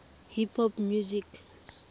hip hop music